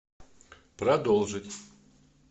продолжить